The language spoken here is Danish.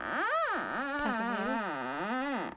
personalet